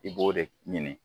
I b'o de ɲini